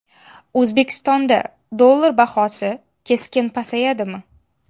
O‘zbekistonda dollar bahosi keskin pasayadimi?.